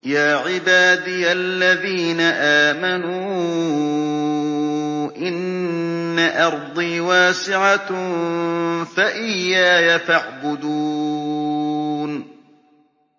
يَا عِبَادِيَ الَّذِينَ آمَنُوا إِنَّ أَرْضِي وَاسِعَةٌ فَإِيَّايَ فَاعْبُدُونِ